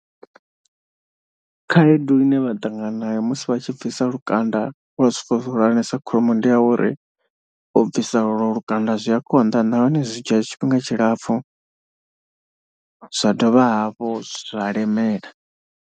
Khaedu ine vha ṱangana nayo musi vha tshi bvisa lukanda wa zwipfa zwihulwaesa kholomo ndi ya uri u bvisa olwo lukanda zwi a konḓa nahone zwi dzhia tshifhinga tshilapfu zwa dovha hafhu zwa lemela.